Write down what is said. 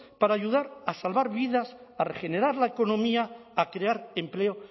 para ayudar a salvar vidas a regenerar la economía a crear empleo